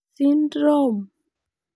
Syndrome?